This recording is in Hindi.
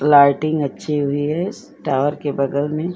लाइटिंग अच्छी हुई है टावर के बगल में --